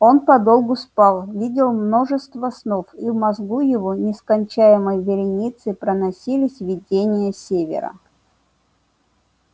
он подолгу спал видел множество снов и в мозгу его нескончаемой вереницей проносились видения севера